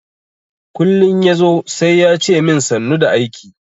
Kullin yazo sai yace min sannu da aiki.